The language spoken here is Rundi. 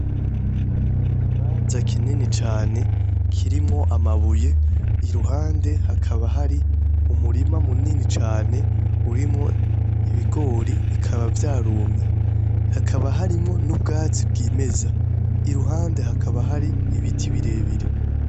I kibanza kinini cane kirimwo amabuye iruhande hakaba hari umurima mu nini cane urimwo ibigori bikaba vyarumye hakaba harimo n'ubwatsi bw'imeza i ruhande hakaba hari ibiti birebire.